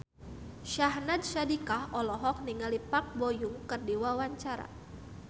Syahnaz Sadiqah olohok ningali Park Bo Yung keur diwawancara